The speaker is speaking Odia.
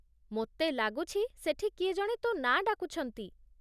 ମୋତେ ଲାଗୁଛି ସେଠି କିଏ ଜଣେ ତୋ ନାଁ ଡାକୁଛନ୍ତି ।